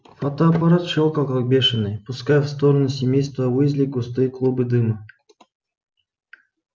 фотоаппарат щёлкал как бешеный пуская в сторону семейства уизли густые клубы дыма